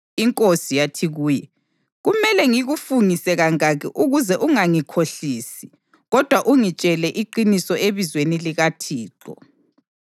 Inkosi yathi kuye, “Kumele ngikufungise kangaki ukuze ungangikhohlisi kodwa ungitshele iqiniso ebizweni likaThixo?”